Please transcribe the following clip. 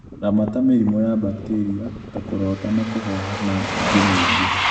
Ramata mĩrimũ ya bakteria ta kũrota na kũhoha na ĩngi mĩingĩ